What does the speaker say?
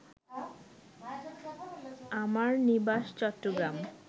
আমার নিবাস চট্টগ্রাম